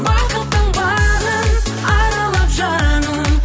бақыттың бағын аралап жаным